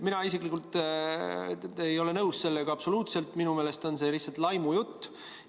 Mina isiklikult ei ole sellega absoluutselt nõus, minu meelest on see lihtsalt laimujutt.